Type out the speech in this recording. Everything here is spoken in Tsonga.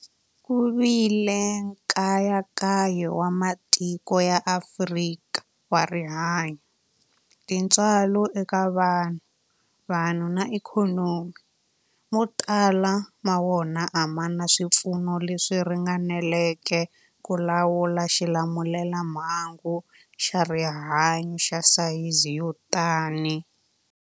Ku vile nkayakayo wa matiko ya Afrika wa rihanyu, tintswalo eka vanhu, vanhu na ikhonomi, mo tala ma wona a ma na swipfuno leswi ringaneleke ku lawula xilamulelamhangu xa rihanyu xa sayizi yo tani.